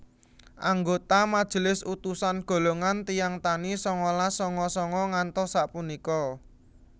Anggota majelis utusan golongan tiyang tani sangalas sanga sanga ngantos sapunika